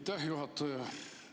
Aitäh, juhataja!